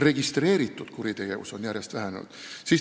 Registreeritud kuritegevus on järjest vähenenud.